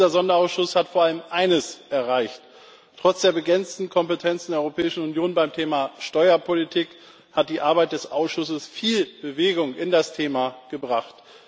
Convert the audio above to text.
Dieser Sonderausschuss hat vor allem eines erreicht Trotz der begrenzten Kompetenzen der Europäischen Union beim Thema Steuerpolitik hat die Arbeit des Ausschusses viel Bewegung in das Thema gebracht.